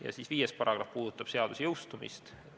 Paragrahv 5 puudutab seaduse jõustumist.